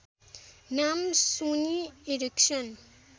नाम Sony Erikson